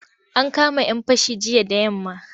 An kama'yan fashi jiya da yamma.